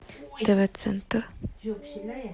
тв центр